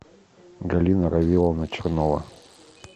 галина равиловна чернова